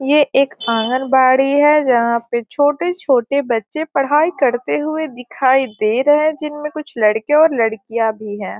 ये एक आंगनबाड़ी है जहां पे छोटे-छोटे बच्चे पढ़ाई करते हुए दिखाई दे रहे है जिनमें कुछ लड़के और लड़कियाँ भी है।